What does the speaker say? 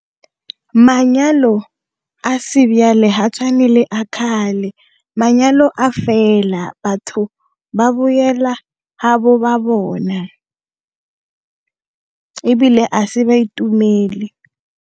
Manyalo a sebjale ha tshwane le a kgale, manyalo a fela, batho ba boela bona, ebile a se ba itumele.